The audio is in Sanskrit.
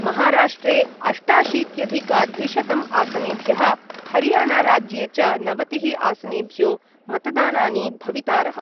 महाराष्ट्रे अष्टाशीत्यधिकद्विशतम् आसनेभ्यः हरियाणाराज्ये च नवतिः आसनेभ्यो मतदानानि भवितारः।